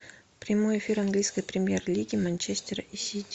прямой эфир английской премьер лиги манчестер и сити